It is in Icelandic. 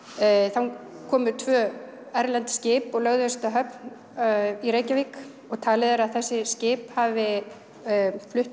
þá komu tvö erlend skip og lögðust að höfn í Reykjavík og talið er að þessi skip hafi flutt